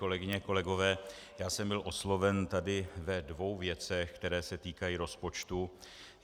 Kolegyně, kolegové, já jsem byl osloven tady ve dvou věcech, které se týkají rozpočtu.